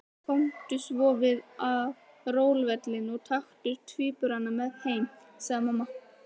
Komdu svo við á róluvellinum og taktu tvíburana með heim, sagði mamma.